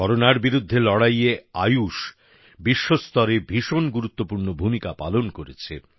করোনার বিরুদ্ধে লড়াইয়ে আয়ুষ বিশ্বস্তরে ভীষণ গুরুত্বপূর্ণ ভূমিকা পালন করেছে